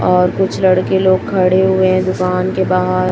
और कुछ लड़के लोग खड़े हुए हैं दुकान के बाहर--